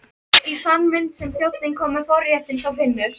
Í þann mund sem þjónninn kom með forréttinn sá Finnur